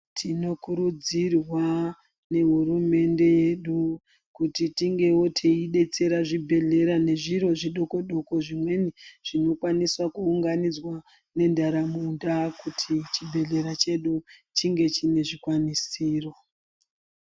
Tinokurudzirwa nehurumende yedu kuti tingewo teidetsera zvibhedhlera nezviro zvidoko -doko zvimweni zvinokwanisa kuunganidzwa nentaraunda kuti chibhehlera chedu chingezi chine zvikwanisiro.